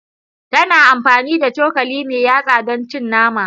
Tana amfani da cokali mai yatsa don cin naman.